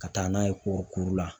Ka taa n'a ye kɔɔrikuru la.